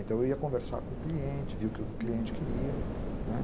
Então eu ia conversar com o cliente, ver o que o cliente queria, né?